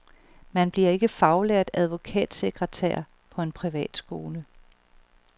Man bliver ikke faglært advokatsekretær på en privat skole.